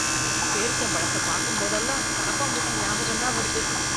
பேரீச்சம் பழத்த பாக்கும்போதெல்லாம், கரப்பான் பூச்சி ஞாபகம்தான் வருது...